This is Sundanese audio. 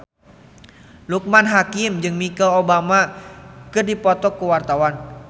Loekman Hakim jeung Michelle Obama keur dipoto ku wartawan